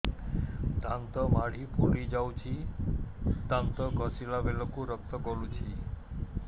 ଦାନ୍ତ ମାଢ଼ୀ ଫୁଲି ଯାଉଛି ଦାନ୍ତ ଘଷିଲା ବେଳକୁ ରକ୍ତ ଗଳୁଛି